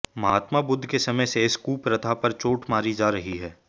महात्मा बुद्ध के समय से इस कुप्रथा पर चोट मारी जा रही है